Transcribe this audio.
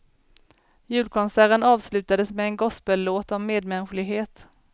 Julkonserten avslutades med en gospellåt om medmänsklighet.